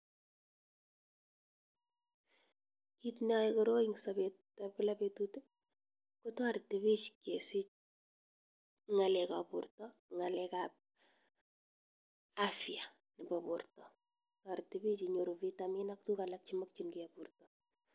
Kit neyai koroi en sapet ab kilapetut kotareti pik kesich ng'alek ap borto , ng'alek ap afya nebo porta , tariti pik inyoru vitamin ak tukuk alak chemakchinike borta.